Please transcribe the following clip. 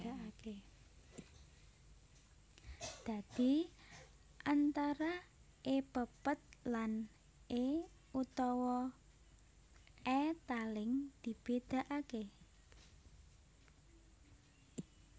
Dadi antara e pepet lan é utawa è taling dibédakaké